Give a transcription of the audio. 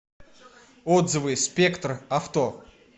отзывы спектр авто